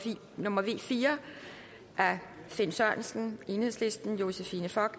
nummer v fire af finn sørensen josephine fock